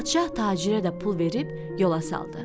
Padşah tacirə də pul verib yola saldı.